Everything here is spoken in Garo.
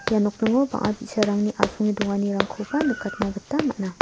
ia nokningo bang·a bi·sarangni asonge donganirangkoba nikatna gita man·a.